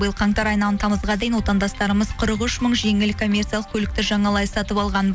биыл қаңтар айынан тамызға дейін отандастарымыз қырық үш мың жеңіл коммерциялық көлікті жаңалай сатып алған